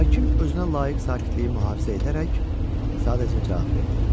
Hakim özünə layiq sakitliyi mühafizə edərək sadəcə cavab verdi: